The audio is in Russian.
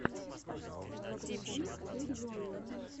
загрузи верьемин